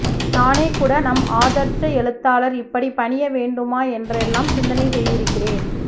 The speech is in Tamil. நானேகூட நம் ஆதர்ச எழுத்தாளர் இப்படி பணியவேண்டுமா என்றெல்லாம் சிந்தனை செய்திருக்கிறேன்